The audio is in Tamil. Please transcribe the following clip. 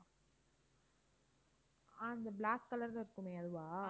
ஆஹ் இந்த black color ல இருக்குமே அதுவா?